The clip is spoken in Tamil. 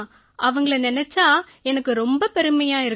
அவங்களை நினைச்சா எனக்கு ரொம்ப பெருமையா இருக்கு